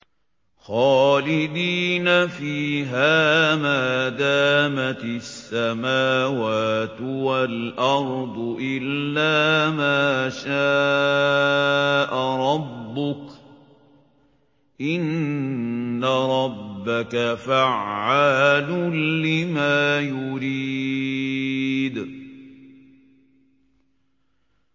خَالِدِينَ فِيهَا مَا دَامَتِ السَّمَاوَاتُ وَالْأَرْضُ إِلَّا مَا شَاءَ رَبُّكَ ۚ إِنَّ رَبَّكَ فَعَّالٌ لِّمَا يُرِيدُ